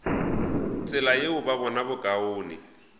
tsela yeo ba bona bokaone